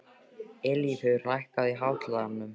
Eilífur, lækkaðu í hátalaranum.